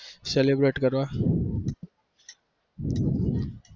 celebrate કરવા